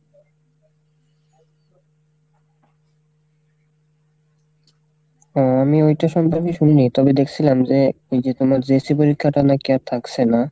ও আমি ওইটা সম্পর্কে শুনিনি তবে দেখসিলাম যে ওইযে তোমার JAC পরীক্ষাটা নাকি আর থাকসে না,